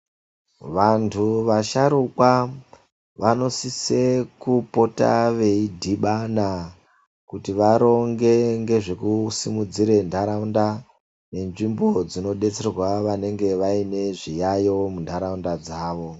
Vantu vasharukwa vanosise kupota veidhibana kuti varonge ngezvekusimudzira ndaraunda ngenzvimbo dzinodetsera vanenge vane zviyayo mundaraunda dzavo.